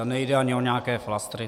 A nejde ani o nějaké flastry.